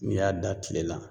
N'i y'a da kile la